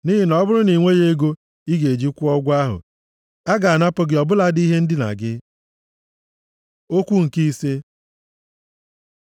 Nʼihi na ọ bụrụ na i nweghị ego ị ga-eji kwụọ ụgwọ ahụ, a ga-anapụ gị ọ bụladị ihe ndina gị. Okwu nke ise